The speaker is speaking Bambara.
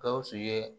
Gawusu ye